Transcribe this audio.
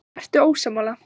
Ertu ósammála?